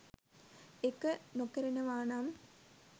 ඒක නොකරනවානම්